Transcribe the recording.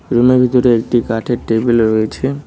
রুমের ভিতরে একটি কাঠের টেবিল রয়েছে।